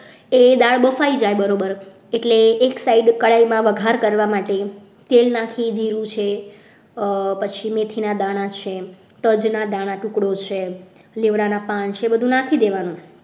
એ દાળ બફાઈ જાય બરોબર એટલે એક side કડાઈમાં વઘાર કરવા માટે તેલ નાખી દીધું છે પછી મેથીના દાણા છે તજના દાણા છે ટુકડો છે લીમડાના પાન છે એ બધું નાખી દેવાનું.